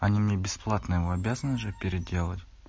они мне бесплатно его обязаны же переделать